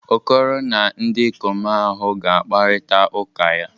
Okoro na ndikom ahu ga-akparita uka ya.